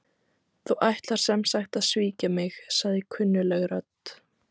Þú ætlar sem sagt að svíkja mig- sagði kunnugleg rödd.